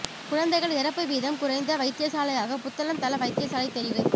குழந்தைகள் இறப்பு வீதம் குறைந்த வைத்தியசாலையாக புத்தளம் தள வைத்தியசாலை தெரிவு